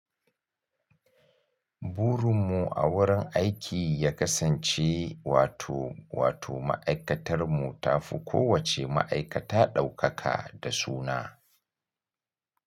Burun mu a wurin aiki ya kasance wato wato ma’aikatar mu tafi kowace ma’aikata ɗaukaka da suna.